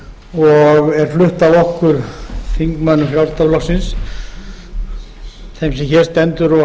og er flutt af okkur þingmönnum frjálslynda flokksins þeim sem hér